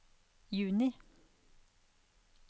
juni